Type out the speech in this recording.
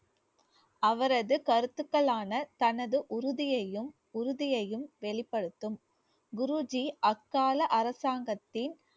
அவரது கருத்துக்களான தனது உறுதியையும் உறுதியையும் வெளிப்படுத்தும் குருஜி அக்கால அரசாங்கத்தின்